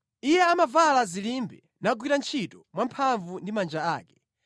Iye amavala zilimbe nagwira ntchito mwamphamvu ndi manja ake.